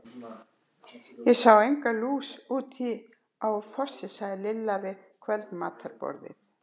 Ég sá enga lús úti á Fossi sagði Lilla við kvöldmatarborðið.